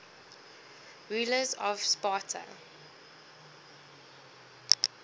rulers of sparta